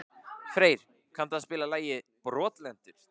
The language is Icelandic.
Freyr, kanntu að spila lagið „Brotlentur“?